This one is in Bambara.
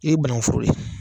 E banankuforo de ye ye